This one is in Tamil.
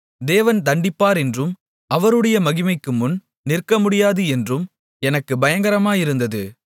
தேவன் தண்டிப்பார் என்றும் அவருடைய மகிமைக்கு முன் நிற்கமுடியாது என்றும் எனக்குப் பயங்கரமாயிருந்தது